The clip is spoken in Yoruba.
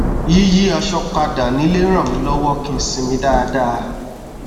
yíyí aṣọ padà nílé ràn mí lọwọ kí n sinmi dáadáa